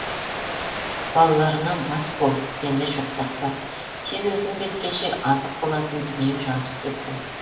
балаларыңа бас бол мені жоқтатпа сен өзің кеткенше азық болатын дүние жазып кеттім